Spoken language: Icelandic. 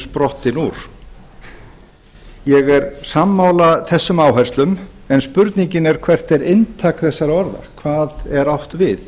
sprottin úr ég er sammála þessum áherslum en spurningin er hvert er inntak þessara orða hvað er átt við